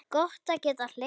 Gott að geta hlegið.